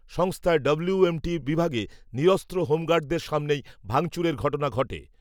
সংস্থার W, M T বিভাগে, নিরস্ত্র হোমগার্ডদের সামনেই, ভাঙচুরের ঘটনা ঘটে